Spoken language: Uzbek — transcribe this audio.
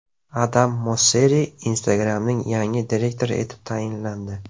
Adam Mosseri Instagram’ning yangi direktori etib tayinlandi.